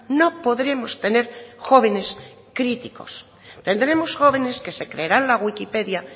no podremos tener jóvenes críticos tendremos jóvenes que se creerán la wikipedia